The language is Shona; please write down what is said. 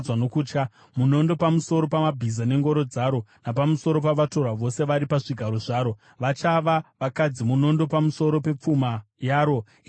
Munondo pamusoro pamabhiza nengoro dzaro, napamusoro pavatorwa vose vari pazvigaro zvaro! Vachava vakadzi. Munondo pamusoro pepfuma yaro! Ichapambwa.